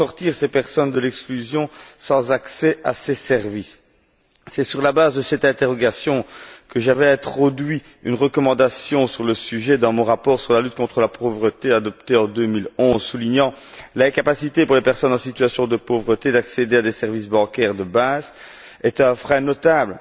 Comment sortir ces personnes de l'exclusion? C'est sur la base de cette interrogation que j'avais introduit une recommandation sur le sujet dans mon rapport sur la lutte contre la pauvreté, adopté en 2011, qui soulignait que l'incapacité pour les personnes en situation de pauvreté d'accéder à des services bancaires de base est un frein notable